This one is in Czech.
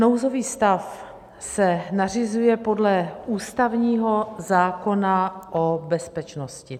Nouzový stav se nařizuje podle ústavního zákona o bezpečnosti.